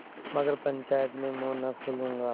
मगर पंचायत में मुँह न खोलूँगा